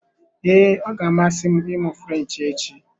Ee, ọ ga-amasị m ịmụ French echi.